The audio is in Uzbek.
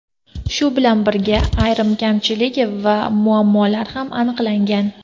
Shu bilan birga, ayrim kamchilik va muammolar ham aniqlangan.